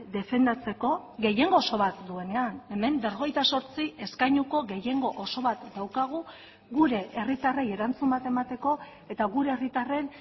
defendatzeko gehiengo oso bat duenean hemen berrogeita zortzi eskainuko gehiengo oso bat daukagu gure herritarrei erantzun bat emateko eta gure herritarren